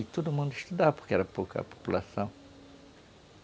Aí todo mundo estudava, porque era pouca a população.